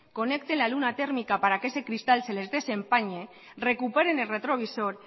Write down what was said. conecten la luna térmica para que ese cristal se les desempañe recuperen el retrovisor